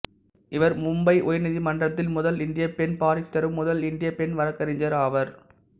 இவர் மும்பை உயர்நீதிமன்றத்தில் முதல் இந்திய பெண் பாரிஸ்டரும் முதல் இந்திய பெண் வழக்கறிஞர் ஆவார்